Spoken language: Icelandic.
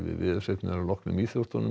veðurfregnir að loknum íþróttum